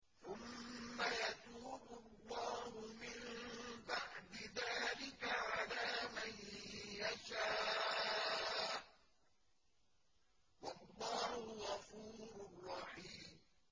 ثُمَّ يَتُوبُ اللَّهُ مِن بَعْدِ ذَٰلِكَ عَلَىٰ مَن يَشَاءُ ۗ وَاللَّهُ غَفُورٌ رَّحِيمٌ